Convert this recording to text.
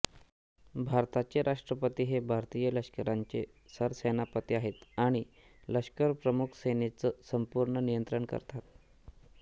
भारताचे राष्ट्रपती हे भारतीय लष्कराचे सरसेनापती आहेत आणि लष्करप्रमुख सेनेचं संपूर्ण नियंत्रण करतात